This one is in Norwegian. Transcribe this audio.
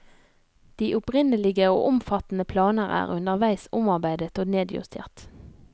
De opprinnelige og omfattende planer er underveis omarbeidet og nedjustert.